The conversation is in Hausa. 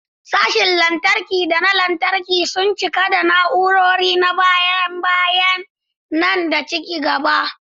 Sashen lantarki da na lantarki sun cika da na'urori na baya-bayan nan da ci gaba.